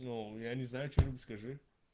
ну я не знаю что-нибудь скажи